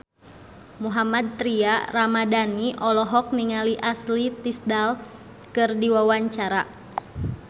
Mohammad Tria Ramadhani olohok ningali Ashley Tisdale keur diwawancara